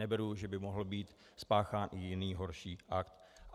Neberu, že by mohl být spáchán i jiný horší akt.